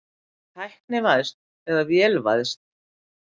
Tæknivæðst eða vélvæðst?